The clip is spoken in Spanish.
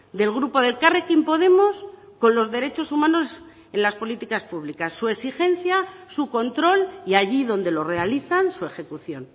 del grupo de elkarrekin podemos con los derechos humanos en las políticas públicas su exigencia su control y allí donde lo realizan su ejecución